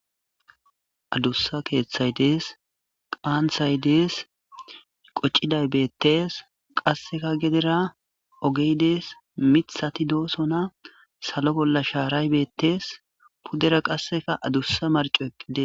Addussa keththay xees qanththay de'es qoociday beettes qasekka geddera miiththatti de'ossonna salo bolla qasekka shaaray beettes